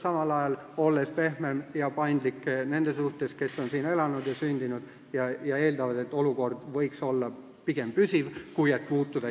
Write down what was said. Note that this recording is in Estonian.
Samal ajal tuleks olla pehmem ja paindlikum nende suhtes, kes on siin elanud ja sündinud ning eeldavad, et olukord võiks olla pigem püsiv, mitte järsku muutuda.